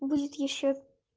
будет ещё